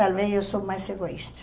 Talvez eu sou mais egoísta.